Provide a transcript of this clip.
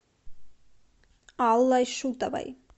аллой шутовой